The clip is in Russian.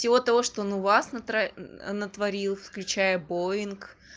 всего того что он у вас натворил включая боинг